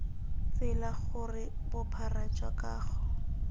tsela gore bophara jwa kago